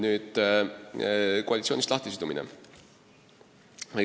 Nüüd, koalitsioonist lahtisidumine.